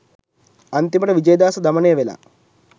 අන්තිමට විජේදාස දමනය වෙලා